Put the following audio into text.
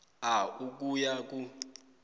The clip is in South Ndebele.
a ukuya ku